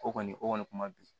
O kɔni o kɔni kuma bi